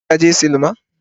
Shin ka je sinima